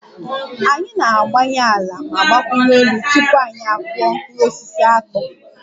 Anyị na-agbanye ala ma gbakwunye nri tupu anyị akụọ mkpụrụ osisi akpu